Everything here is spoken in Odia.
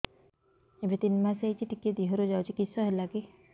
ଏବେ ତିନ୍ ମାସ ହେଇଛି ଟିକିଏ ଦିହରୁ ଯାଉଛି କିଶ ହେଲାକି